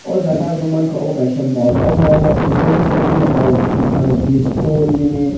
ojaga ang nogmagka abo kaisa mall o mall o kobangma kotui no pa o palo biscuit nini.